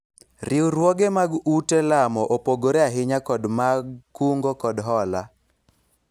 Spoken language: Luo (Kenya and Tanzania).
riwruoge mag ute lamo opogore ahinya kod mag kungo kod hola